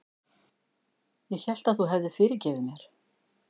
Ég hélt að þú hefðir fyrirgefið mér.